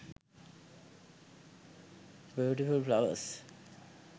beautiful flowers